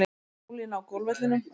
Ólína á golfvellinum.